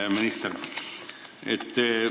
Hea minister!